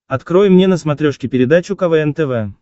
открой мне на смотрешке передачу квн тв